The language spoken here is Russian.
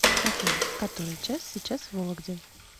афина который час сейчас в вологде